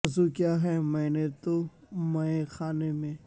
وضو کیا ہے میں نے تو مئے خانے میں